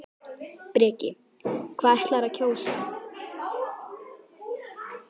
Breki: Hvað ætlarðu að kjósa?